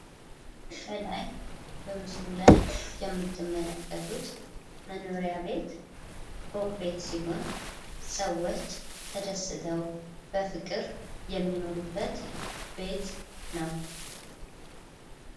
ከላይ በምስሉ ላይ የምትመለከቱት መኖሪያ ቤት ፎቅ ቤት ሲሆን ፤ ሰዎች ተደስተው የሚኖሩበት ቤት ነው።